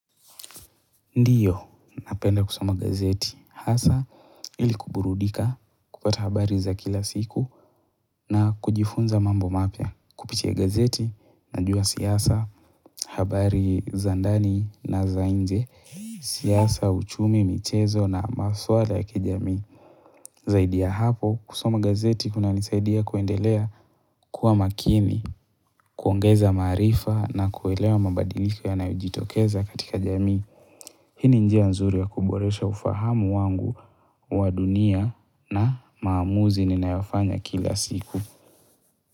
Ndiyo napenda kusoma gazeti hasa ili kuburudika, kupata habari za kila siku na kujifunza mambo mapya. Kupitia gazeti najua siasa, habari za ndani na za nje, siasa, uchumi, michezo na maswala ya kijamii. Zaidi ya hapo, kusoma gazeti kunanisaidia kuendelea kuwa makini, kuongeza maarifa na kuelewa mabadiliko yanayojitokeza katika jamii. Hini njia nzuri ya kuboresha ufahamu wangu wa dunia na maamuzi ninayofanya kila siku.